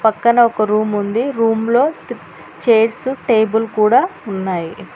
పక్కన ఒక రూమ్ ఉంది రూమ్ లో చైర్స్ టేబుల్ కూడా ఉన్నాయి.